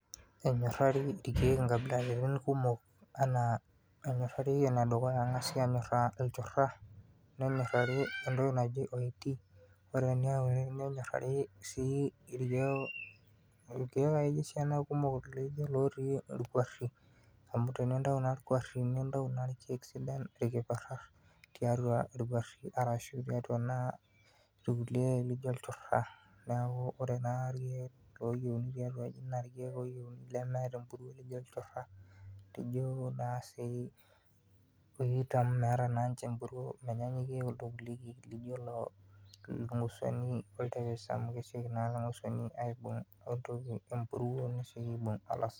enyorari ilkeek inkabilaritin kumok ena , ore enedukuya entoki naji oiti, nenyorari sii ilkeek akeyie esiana kumok ilkiperat tiatua nikijio ilchura, neeku ore naa ikeek oyieuni tiatuaji naa lemeeta emburuo, ijio naa sii ilorikan amu meeta naa niche, menyanyukie kuldo kulie keek laijio ilnguosuani oltepes.